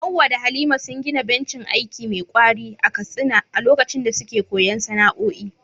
Hawwa da Halima sun gina bencin aiki me ƙwari a Katsina a lokacin da suke koyon sana’o’i.